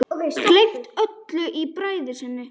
Gleymt öllu í bræði sinni.